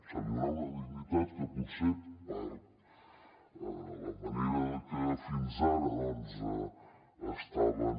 se li donarà una dignitat que potser per la manera que fins ara estaven